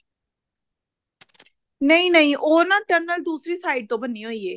ਨਹੀਂ ਨਹੀਂ ਉਹ ਨਾ tunnel ਦੂਸਰੀ side ਤੋਂ ਬਣੀ ਹੋਈ ਏ